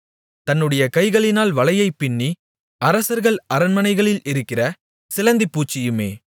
தன்னுடைய கைகளினால் வலையைப்பின்னி அரசர்கள் அரண்மனைகளில் இருக்கிற சிலந்திப் பூச்சியுமே